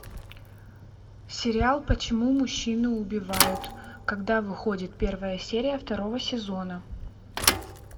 сериал почему мужчины убивают когда выходит первая серия второго сезона